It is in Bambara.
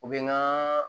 U bɛ n ka